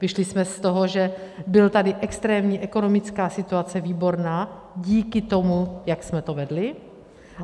Vyšli jsme z toho, že byla tady extrémní ekonomická situace výborná díky tomu, jak jsme to vedli.